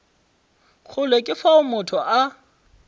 kgole ke fao motho a